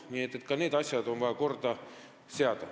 Nii et ka need asjad on vaja korda seada.